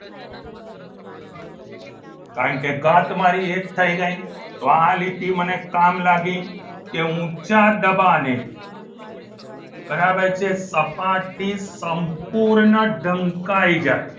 કારણકે ઘાત મારી એક થઈ ગઈ તો આ લીટી મને કામ લાગી કે ઊંચા દબાણે બરાબર છે સપાટી સંપૂર્ણ ઢંકાઈ જાય.